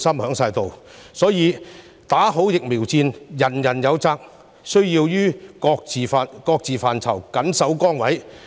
因此，"打好疫苗戰"，人人有責，大家都需要於各自範疇緊守崗位。